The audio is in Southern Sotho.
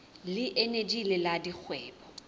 le eneji le la dikgwebo